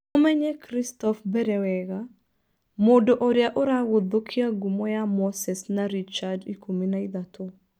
Mũmenye Kristoff Mbere wega, mũndũ ũrĩa ũragũthũkia ngumo ya Moses na Richard ikũmi na ithatũ.